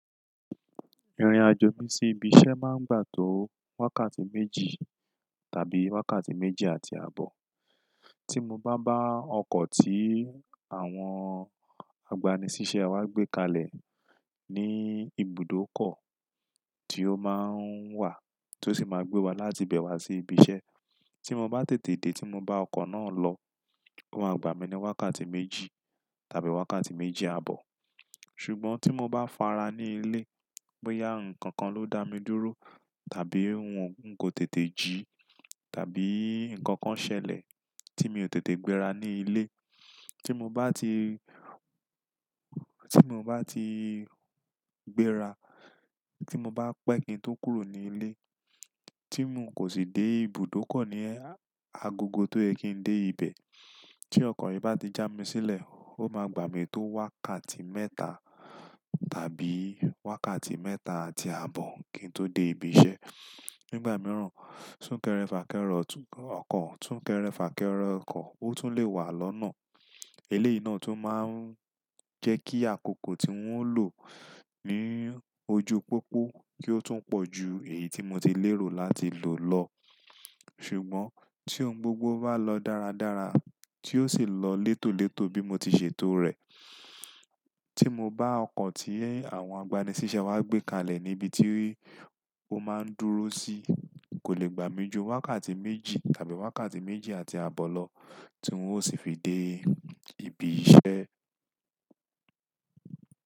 Ìrìn-àjọ̀ mi sí ibi-iṣẹ́ máa ń gbà tó wákàtí méjì tàbí wákàtí méjì àti abọ. Tí mo bá bá ọkọ̀ tí àwọn agbaniṣiṣẹ́ wa gbé kalẹ̀ ní ibùdókọ tí ó máa ń wà, tó sì máa gbé wa láti ibẹ̀ wá sí ibi-iṣẹ́, tí mo bá tètè dé tí mo bá ọkọ̀ náà lọ, ó máa gbà mí ní wákàtí méjì tàbí wákàtí méjì àbọ̀. Ṣùgbọ́n tí mo bá fara ní ilé, bóyá nǹkan kan ló dá mi dúró tàbí ń kò tètè jí tàbí nǹkan kan ṣẹlẹ̀ tí mi ò tètè gbéra ní ilé, tí mo ba ti tí mo bá ti gbéra, tí mo bá pẹ́ kin tó kúrò ní ilé, tí mo kò sì dé ibùdókọ ní agogo tó yẹ kin dé ibẹ̀, tí ọkọ̀ yìí bá ti já mi sílẹ̀, ó máa gbà mí tó wákàtí mẹ́ta tàbí wákàtí mẹ́ta àti abọ́ kin tó dé ibi-iṣẹ́. Nígbà mìíràn, sún-kẹrẹ-fà-kẹrọ ọkọ̀, sún-kẹrẹ-fà-kẹre ọkọ̀, ó tún lè wà lọ́nà. Eléyìí ná tún máa ń jẹ́ kí àkókò tí n ó lò ní ojú pópó kí ó tún pọ̀ jù èyí tí mo ti lérò láti lò lọ. Ṣùgbọ́n tí ohun gbogbo bá lọ dáradára, tí ó sì lọ létòlétò bí mo ti ṣe tòó rẹ̀, tí mo bá ọkọ̀ tí àwọn agbaniṣiṣẹ́ wa gbé kalẹ̀ níbi tí ó máa ń dúró sí, kò lè gbà mí ju wákàtí méjì tàbí wákàtí méjì àti abọ́ lọ, tí n ó sì fi dé ibi-iṣẹ́.